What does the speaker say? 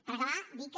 per acabar dir que